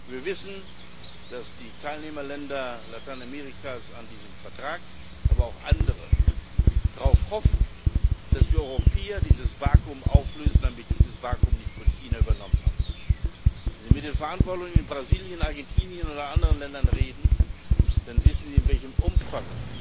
Wir wissen, dass die Teilnehmerländer Lateinamerikas an diesem Vertrag, aber auch andere darauf hoffen, dass wir Europäer dieses Vakuum auflösen, damit dieses Vakuum nicht von China übernommen wird. Wenn Sie mit den Verantwortlichen in Brasilien, Argentinien oder anderen Ländern reden, dann wissen Sie, in welchem Umfang